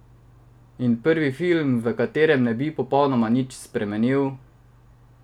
In prvi film, v katerem ne bi popolnoma nič spremenil.